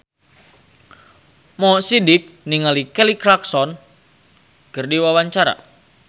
Mo Sidik olohok ningali Kelly Clarkson keur diwawancara